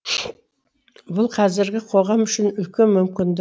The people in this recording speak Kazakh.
бұл қазіргі қоғам үшін үлкен мүмкіндік